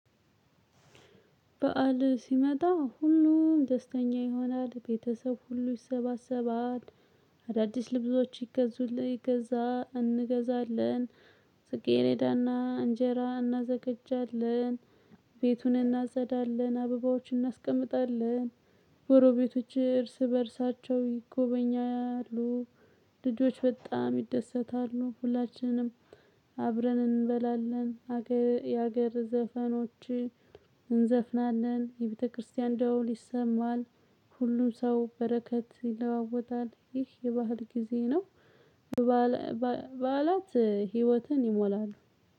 በዓል ሲመጣ ሁሉም ደስተኛ ይሆናል ቤተሰብ ሁሉ ይሰባሰባል። አዳዲስ ልብሶች። እንገዛለን። ጥጌሬዳና እንጀራ እናዘገጃለን። ቤቱን እናጥዳለን አበባዎችን እናስቀምጣለን። ጎሮ ቤቶች እርስ በእርሳቸው ይጎበኛሉ። ልጆች በጣም ይደሰታሉ። ሁላችንም አብረን እንበላለን። የሀገር ዘፈኖችን እንዘፍናለን የቤተክርስቲያን ደውል ይሰማል። ሁሉም ሰው በረከት ይለዋወጣል። ይህ የባህል ጊዜ ነው። በዓላት ህይወትን ይሞላሉ።